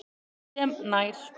sem nær